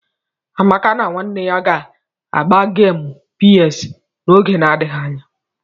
Amaka na nwanne ya ga- agba gemu PS n'oge na-adịghị anya.